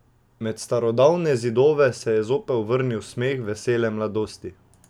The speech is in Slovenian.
Med starodavne zidove se je zopet vrnil smeh vesele mladosti.